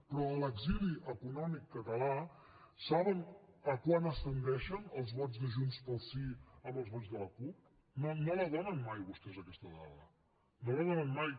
però a l’exili econòmic català saben a quant ascendeixen els vots de junts pel sí amb els vots de la cup no la donen mai vostès aquesta dada no la donen mai